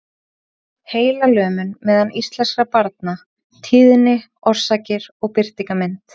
Heilalömun meðal íslenskra barna- tíðni, orsakir og birtingarmynd.